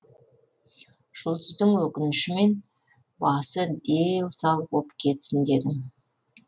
жұлдыздың өкінішімен басы дел сал боп кетсін дедің